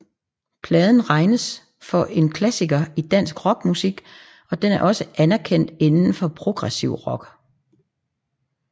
Pladen regnes for en klassiker i dansk rock musik og den er også anerkendt indenfor den progressive rock